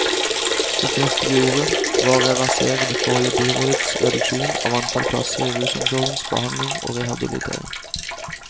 Det første vi gjorde, var å reversere det forrige byrådets reduksjon av antall plasser i rusomsorgens behandling og rehabilitering.